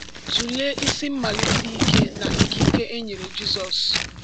Tụlee isi mmalite ike na ikike e nyere Jizọs.